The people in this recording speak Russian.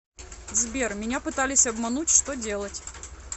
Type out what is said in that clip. сбер меня пытались обмануть что делать